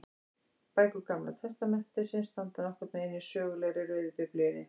Bækur Gamla testamentisins standa nokkurn veginn í sögulegri röð í Biblíunni.